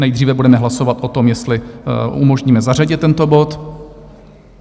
Nejdříve budeme hlasovat o tom, jestli umožníme zařadit tento bod.